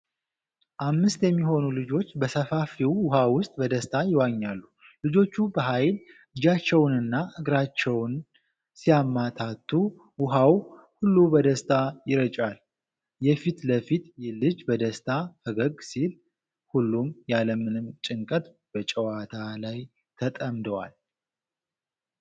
አምስት የሚሆኑ ልጆች በሰፋፊው ውሃ ውስጥ በደስታ ይዋኛሉ። ልጆቹ በኃይል እጃቸውንና እግራቸውን ሲያማታቱ፣ ውሃው ሁሉ በደስታ ይረጫል። የፊት ለፊቱ ልጅ በደስታ ፈገግ ሲል፣ ሁሉም ያለምንም ጭንቀት በጨዋታ ላይ ተጠምደዋል።